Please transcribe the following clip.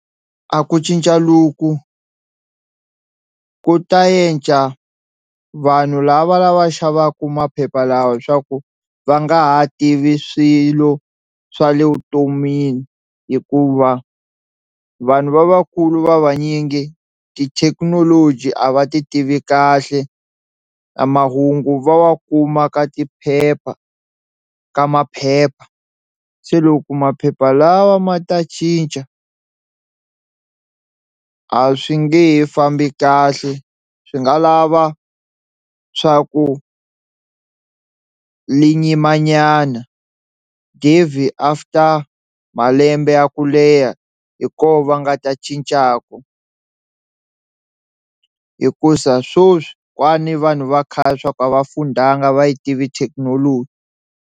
A ku cinca loku ku ta yendla vanhu lava lava xavaka maphepha lawa leswaku va nga ha tivi swilo swa le vutomini hikuva vanhu va vakulu va vanyingi tithekinoloji a va ti tivi kahle na mahungu va wa kuma ka tiphepha ka maphepha, se loko maphepha lawa ma ta cinca a swi nge he fambi kahle swi nga lava swa ku li nyimanyana after malembe ya ku leha hi koho va nga ta cincaku hikusa swoswi ni vanhu va khale swa ku a va fundanga a va yi tivi thekinoloji.